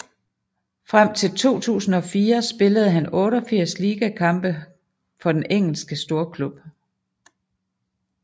Frem til 2004 spillede han 88 ligakampe kampe for den Engelske storklub